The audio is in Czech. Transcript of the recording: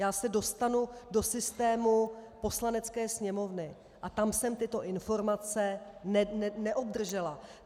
Já se dostanu do systému Poslanecké sněmovny a tam jsem tyto informace neobdržela.